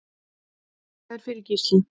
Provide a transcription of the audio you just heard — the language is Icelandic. Þakka þér fyrir Gísli.